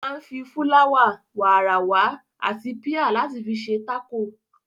Ó máa ń fi, fúláwà, wààràwà àti píà láti fi ṣe tákò.